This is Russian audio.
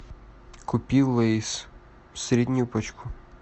купи лейс среднюю пачку